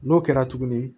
N'o kɛra tuguni